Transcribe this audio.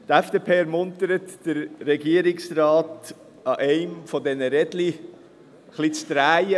Die FDP ermuntert den Regierungsrat, an einem dieser Räder der Röllchenbahn zu drehen.